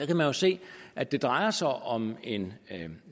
kan man jo se at det drejer sig om en